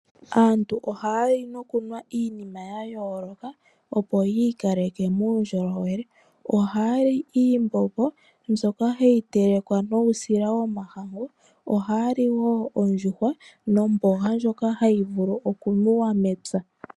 Aantu ohaya li nokunwa iinima yayoloka opo yiikaleke muundjolowele. Ohaya li iimbombi mbyoka hayi telekwa nuusila womahangu, ohaya li wo oondjuwa nomboga ndjoka hayi vulu okumuwa mepya.